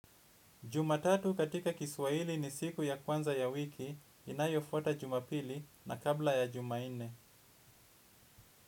Jumatatu katika Kiswahili ni siku ya kwanza ya wiki inayofuata Jumapili na kabla ya Jumanne.